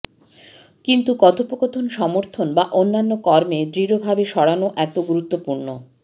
কিন্তু কথোপকথন সমর্থন বা অন্যান্য কর্মে দৃঢ়ভাবে সরানো এত গুরুত্বপূর্ণ